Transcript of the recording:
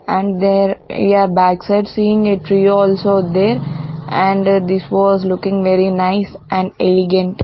and there here back side seeing a tree also there and this was looking very nice and elegant.